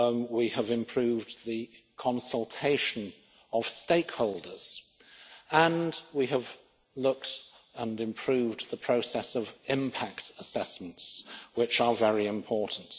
We have improved the consultation of stakeholders and we have looked at and improved the process of impact assessments, which are very important.